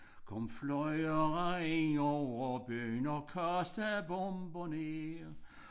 Kom flyvere ind over byen og kastede bomber ned